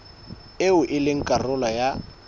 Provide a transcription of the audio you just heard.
eo e leng karolo ya